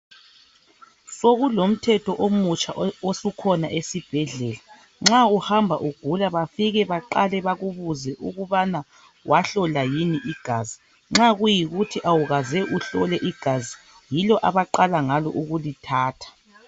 Sokulomthetho omutsha osukhona esibhedlela. Nxa uhamba ugula bafike baqale bakubuze ukubana wahlola yini igazi. Nxa kuyikuthi awukaze uhlole igazi yilo abaqala ngalo ukulithatha.